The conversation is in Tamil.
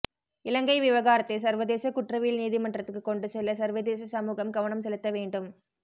இலங்கை விவகாரத்தை சர்வதேச குற்றவியல் நீதிமன்றதுக்கு கொண்டு செல்ல சர்வதேச சமூகம் கவனம் செலுத்த வேண்டும்